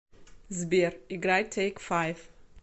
сбер играй тэйк файв